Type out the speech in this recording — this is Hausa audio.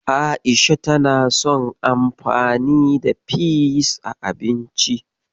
A'isha tana son anfani da peas a abinci.